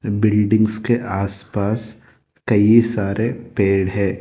Buildings के आसपास कई सारे पेड़ है।